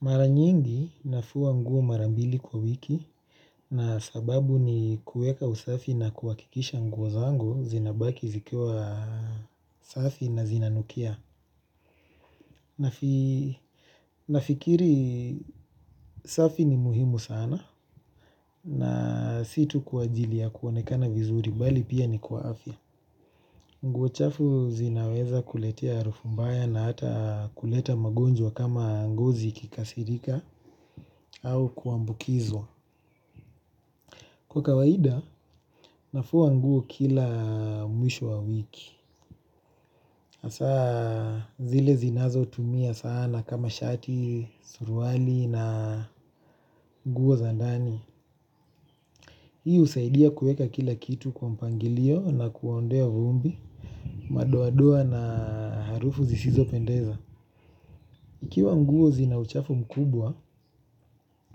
Mara nyingi nafua nguo mara mbili kwa wiki na sababu ni kueka usafi na kuhakikisha nguo zangu zinabaki zikiwa safi na zinanukia. Nafikiri safi ni muhimu sana na si tu kwa ajili ya kuonekana vizuri bali pia ni kwa afya. Nguo chafu zinaweza kuletea harufu mbaya na hata kuleta magonjwa kama ngozi ikikasirika au kuambukizwa. Kwa kawaida, nafua nguo kila mwisho wa wiki. Hasa, zile zinazotumia sana kama shati, suruali na nguo za ndani. Hii husaidia kueka kila kitu kwa mpangilio na kuondoa vumbi, madoadoa na harufu zisizopendeza. Ikiwa nguo zina uchafu mkubwa,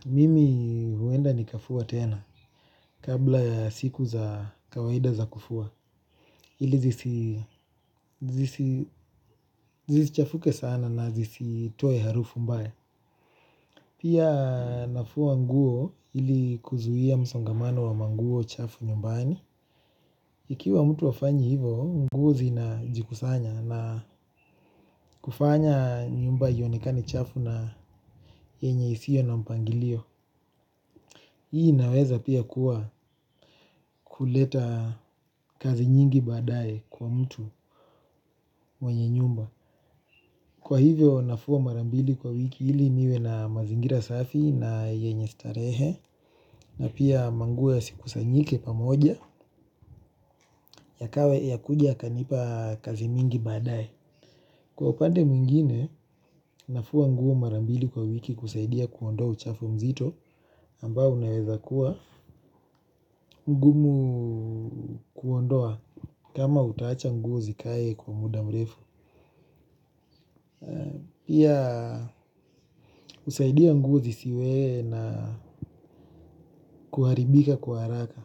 mimi huenda nikafua tena kabla siku za kawaida za kufua. Zisichafuke sana na zisitoe harufu mbaya. Pia nafua nguo ili kuzuia msongamano wa manguo chafu nyumbani. Ikiwa mtu hafanyi hivo, nguo zinajikusanya na kufanya nyumba ionekane chafu na yenye isio na mpangilio. Hii inaweza pia kuwa kuleta kazi nyingi baadaye kwa mtu mwenye nyumba. Kwa hivyo nafua mara mbili kwa wiki ili niwe na mazingira safi na yenye starehe na pia manguo yasikusanyike pamoja yakuja kanipa kazi mingi baadae. Kwa upande mwingine nafua nguo mara mbili kwa wiki kusaidia kuondoa uchafu mzito ambao unaweza kuwa mgumu kuondoa kama utaacha nguo zikae kwa muda mrefu. Pia husaidia nguo zisiwe na kuharibika kwa haraka.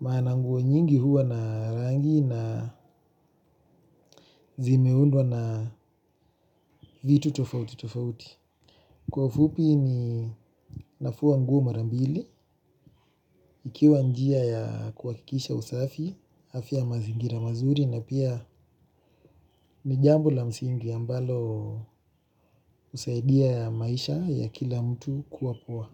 Maana nguo nyingi huwa na rangi na zimeundwa na vitu tofauti tofauti. Kwa ufupi ninafua nguo mara mbili. Ikiwa njia ya kuhakikisha usafi, afya ya mazingira mazuri na pia ni jambo la msingi ambalo husaidia maisha ya kila mtu kuwa poa.